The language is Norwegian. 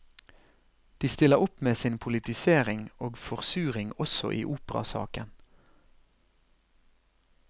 De stiller opp med sin politisering og forsuring også i operasaken.